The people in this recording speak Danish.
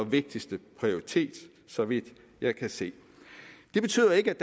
vigtigste prioritet så vidt jeg kan se det betyder ikke